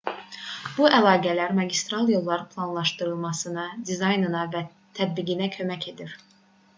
bu əlaqələr magistral yolların planlaşdırılmasına dizaynına və tətbiqinə kömək edir